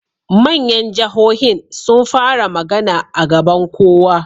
Manyan jahohin sun fara magana a gaban kowa